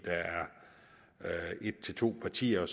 der er et til to partier